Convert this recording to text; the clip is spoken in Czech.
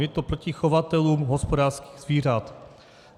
Je to proti chovatelům hospodářských zvířat.